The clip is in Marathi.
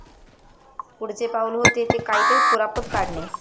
पुढचे पाउल होते ते काहीतरी कुरापत काढणे.